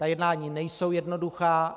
Ta jednání nejsou jednoduchá.